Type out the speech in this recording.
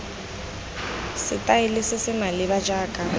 setaele se se maleba jaaka